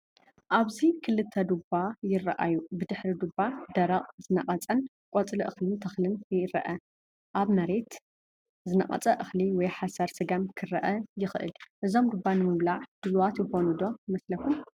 ኣብዚ ክልተ ዱባ ይረኣዩ። ብድሕሪ ዱባ ደረቕን ዝነቐጸን ቆጽሊ እኽልን ተኽልን ይርአ። ኣብ መሬት ዝነቐጸ እኽሊ ወይ ሓሰር ስገም ክርአ ይከኣል። እዞም ዱባ ንምብላዕ ድሉዋት ዝኮኑ ደ ይመስልኩም?